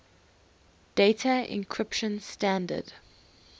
data encryption standard